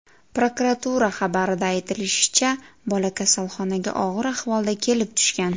Prokuratura xabarida aytilishicha, bola kasalxonaga og‘ir ahvolda kelib tushgan.